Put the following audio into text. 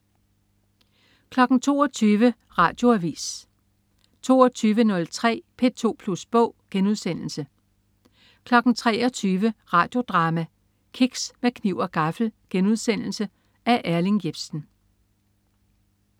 22.00 Radioavis 22.03 P2 Plus Bog* 23.00 Radio Drama: Kiks med kniv og gaffel.* Af Erling Jepsen